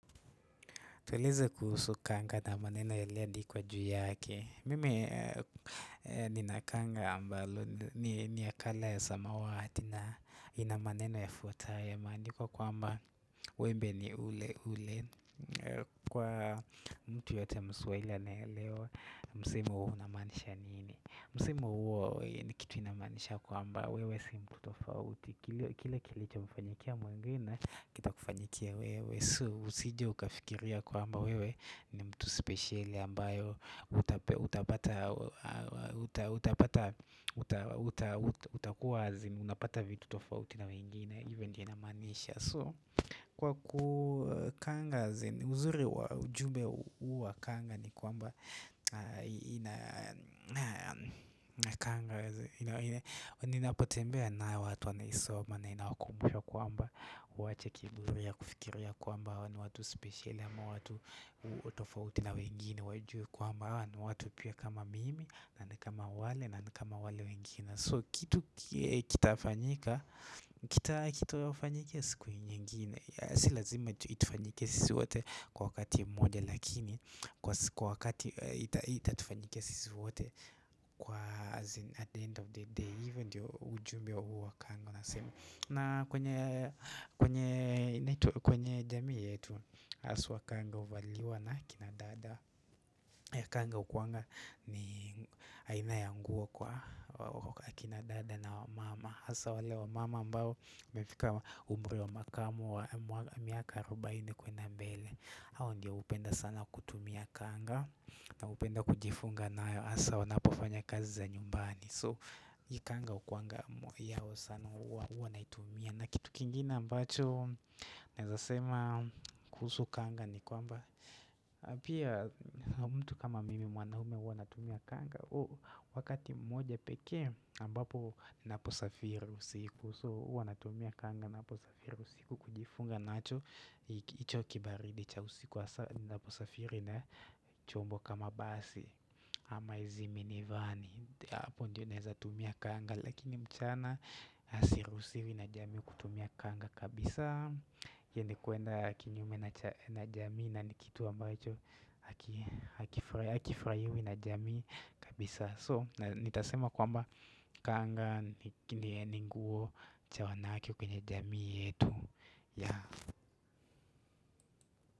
Tueleze kuhusu kanga na maneno yaliyoandikwa yake. Mimi nina kanga ambalo ni ya color ya samawati na ina maneno yafuatayo. Maandiko kwamba wembe ni ule ule. Kwa mtu yeyote ya mswahili anayeelewa msemo huu unamaanisha nini. Msemo huo ni kitu inamaanisha kwamba wewe si mtu tofauti, kile Kile kilichomfanyikia mwengine, kitakufanyikia wewe. So usije ukafikiria kwamba wewe ni mtu spesheli ambayo utapata utakuwa azin unapata vitu tofauti na wengine hivyo ndiyo inamaanisha so kwa ku, kanga ni, uzuri wa ujumbe huu wa kanga ni kwamba Nina kanga, Ninapotembea nayo watu wanaisoma na inawakumbusha kwamba waache kiburi ya kufikiria kwamba. Hawa ni watu spesheli ama watu tofauti na wengine wajue kwamba hawa ni watu pia kama mimi na ni kama wale na kama wale wengine. So kitu kitafanyika Kitawafanyikia siku nyingine. S ilazima itufanyikie sisi wote kwa wakati moja lakini kwa wakati itatufanyikia sisi wote. Kwa azin at the end of the day, hivyo ndiyo ujumbe huu wa kanga unasema, na kwenye jamii yetu haswa kanga huvaliwa na kina dada ya kanga hukuanga ni aina ya nguo kwa akina dada na wamama hasaa wale wamama ambao wamefika umri wa makamu wa miaka arubaini kuenda mbele. Hawa ndio hupenda sana kutumia kanga na hupenda kujifunga nayo hasaa wanapofanya kazi za nyumbani. So hii kanga hukuanga yao sana. Huwa naitumia. Na kitu kingine ambacho Nawezasema kuhusu kanga ni kwamba, Pia mtu kama mimi mwanaume huwa natumia kanga huu wakati mmoja pekee ambapo ninaposafiri usiku. So huwa natumia kanga ninaposafiri usiku kujifunga nacho hiki hicho kibaridi cha usiku hasaa ninaposafiri na chombo kama basi ama hizi mini vani. Hapo ndio nawezatumia kanga lakini mchana siruhusiwi na jamii kutumia kanga kabisa. Hiyo ni kuenda inyume na jamii na ni kitu ambacho Hakifayiwi na jamii kabisa, so nitasema kwamba kanga ni nguo cha wanawake kwenye jamii yetu ya.